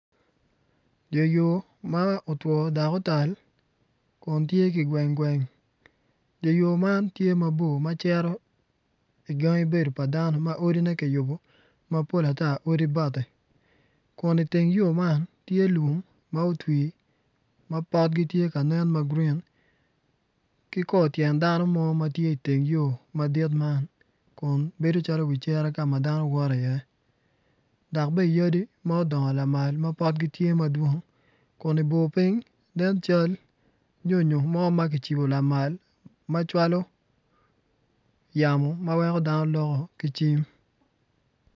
Dye yo ma otwo dok otal kun tye kigweng gweng dye yo man tye mabor ma cito igangi bedo pa dano ma odine kiyubo mapol ata odi bati kun iteng yo man tye lum ma otwi ma potgi tye ka nen ma grin ki kor tyen dano mo ma tye iteng yo madit man kun bedo calo wi cere ka ma dano woto iye dok bene yadi ma odongo lamal ma potgi tye madwong kun ibor piny nen cal nyonyo ma ma kicibo lamal ma cwalo yamo ma weko dano loko ki cim.